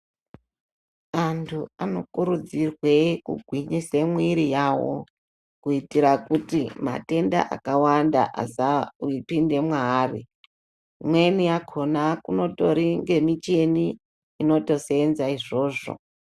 Anthu anokurudzirwe, kugwinyise mwiri yawo, kuitira kuti matenda akawanda, asapinda mwaari, imweni yakhona kunotori nemicheni, inotoseenza izvozvo.